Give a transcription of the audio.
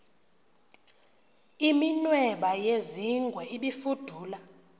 iminweba yezingwe ibifudula